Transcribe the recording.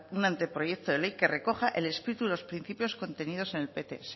un anteproyecto de ley que recoja el espíritu de los principios contenidos en el pts